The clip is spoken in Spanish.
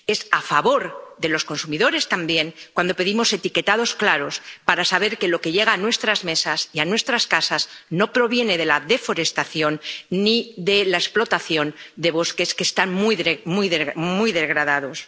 Es a favor de los consumidores también cuando pedimos etiquetados claros, para saber que lo que llega a nuestras mesas y a nuestras casas no proviene de la deforestación ni de la explotación de bosques que están muy degradados.